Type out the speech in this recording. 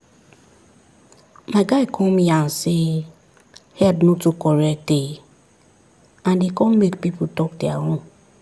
my guy come yarn say head no too correct eh and e come make people talk their own